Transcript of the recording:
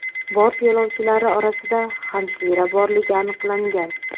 Bort yo‘lovchilari orasida hamshira borligi aniqlangan.